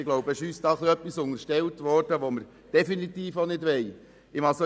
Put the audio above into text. Ein wenig wurde uns etwas unterstellt, das wir definitiv auch nicht wollen.